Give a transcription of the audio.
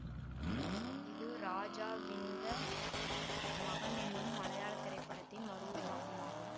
இது ராஜாவின்த மகன் என்னும் மலையாள திரைப்படத்தின் மறுவுருவாக்கம் ஆகும்